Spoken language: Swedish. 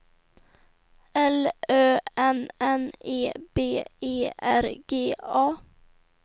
L Ö N N E B E R G A